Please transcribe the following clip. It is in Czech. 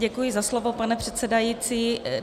Děkuji za slovo, pane předsedající.